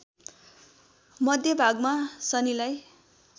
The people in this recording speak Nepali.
मध्यभागमा शनिलाई